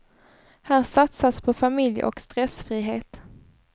Här satsas på familj och stressfrihet.